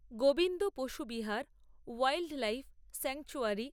গোবিন্দ পশুবিহার wildlife sanctuary